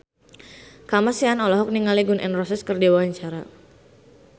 Kamasean olohok ningali Gun N Roses keur diwawancara